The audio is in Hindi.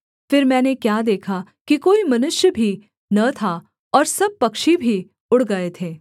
फिर मैंने क्या देखा कि कोई मनुष्य भी न था और सब पक्षी भी उड़ गए थे